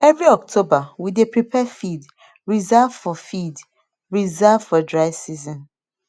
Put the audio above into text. every october we dey prepare feed reserve for feed reserve for dry season